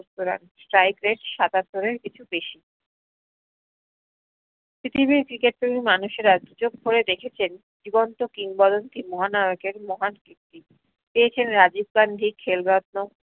runstrikerate সাতাত্তরের কিছু বেশি পৃথিবীর cricket প্রেমী মানুষেরা দুচোখ ভরে দেখেছেন জীবন্ত কিংবদন্তি মহানায়কের মহান কীর্তি পেয়েছেন রাজীব গান্ধী খেল রত্ন,